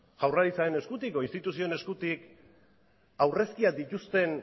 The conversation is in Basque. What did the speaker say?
jaurlaritzaren eskutik edo instituzioen eskutik aurrezkiak dituzten